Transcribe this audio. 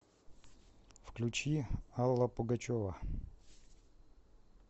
включи алла пугачева